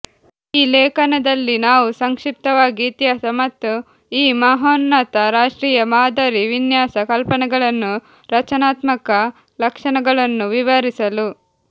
ಈ ಲೇಖನದಲ್ಲಿ ನಾವು ಸಂಕ್ಷಿಪ್ತವಾಗಿ ಇತಿಹಾಸ ಮತ್ತು ಈ ಮಹೋನ್ನತ ರಾಷ್ಟ್ರೀಯ ಮಾದರಿ ವಿನ್ಯಾಸ ಕಲ್ಪನೆಗಳನ್ನು ರಚನಾತ್ಮಕ ಲಕ್ಷಣಗಳನ್ನು ವಿವರಿಸಲು